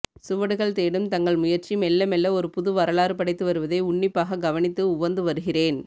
சுவடுகள் தேடும் தங்கள் முயற்சி மெல்ல மெல்ல ஒரு புது வரலாறு படைத்து வருவதை உன்னிப்பாகக் கவனித்து உவந்து வருகிறேன்